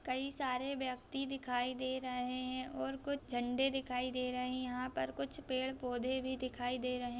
कई सारे व्यक्ति दिखाई दे रहे हैं और कुछ झंडे दिखाई दे रहे हैं यहाँ पर कुछ पेड़-पौधे भी दिखाई दे रहे --